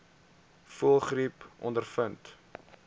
voëlgriep ondervind